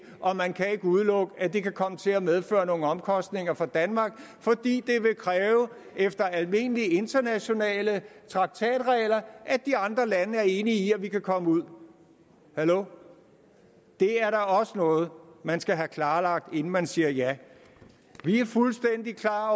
og man kan ikke udelukke at det kan komme til at medføre nogle omkostninger for danmark fordi det efter almindelige internationale traktatregler vil at de andre lande er enige i at vi kan komme ud hallo det er da også noget man skal have klarlagt inden man siger ja vi er fuldstændig klar